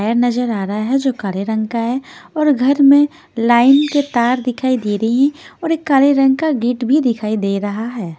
है नजर आ रहा है जो काले रंग का है और घर में लाइन के तार दिखाई दे रही हैं और एक काले रंग का गेट भी दिखाई दे रहा है।